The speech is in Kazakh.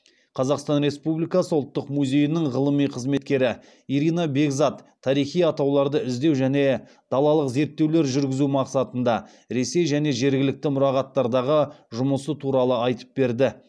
қазақстан республикасы ұлттық музейінің ғылыми қызметкері ирина бекзат тарихи атауларды іздеу және далалық зерттеулер жүргізу мақсатында ресей және жергілікті мұрағаттардағы жұмысы туралы айтып берді